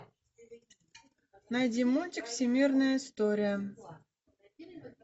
найди мультик всемирная история